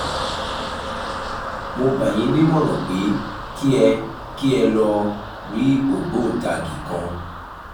mo gbà yín nímọ̀ràn pé kí ẹ kí ẹ lọ rí ògbóǹtagì kan